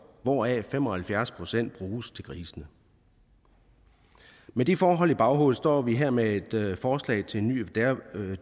hvoraf fem og halvfjerds procent bruges til grisene med de forhold i baghovedet står vi her med et forslag til en ny